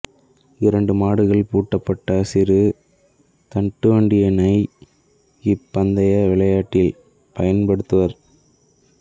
இரண்டு மாடுகள் பூட்டப்பட்ட சிறு தட்டுவண்டியினை இப்பந்தய விளையாட்டில் பயன்படுத்துவர்